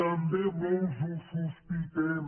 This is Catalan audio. també molts ho sospitem